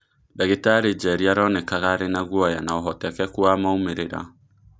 Ndagitari Njeri aronekanaga arĩnaguoya naũhotekeku wa "maumĩrĩra."